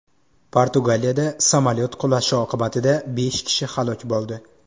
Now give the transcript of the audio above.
Portugaliyada samolyot qulashi oqibatida besh kishi halok bo‘ldi.